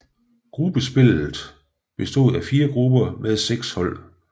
Gruppespillet bestod af fire grupper med seks hold